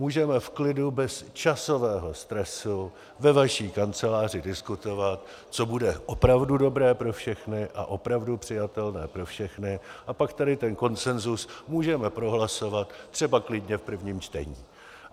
Můžeme v klidu, bez časového stresu ve vaší kanceláři diskutovat, co bude opravdu dobré pro všechny a opravdu přijatelné pro všechny, a pak tady ten konsenzus můžeme prohlasovat třeba klidně v prvním čtení.